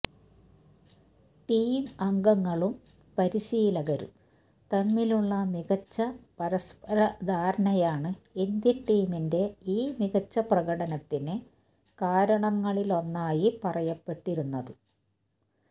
team അംഗങ്ങളും പരീശിലകരും തമ്മിലുള്ള മികച്ച പരസ്പര ധാരണയാണ് ഇന്ത്യൻ ടീമിന്റെ ഈ മികച്ച പ്രകടനത്തിന് കാരണങ്ങളിലൊന്നായി പറയപ്പെട്ടിരുന്നത്